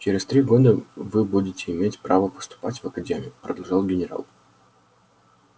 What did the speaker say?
через три года вы будете иметь право поступать в академию продолжал генерал